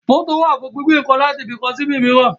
Mótò wà fún gbígbé ǹkan láti ibi kan sí ibò míràn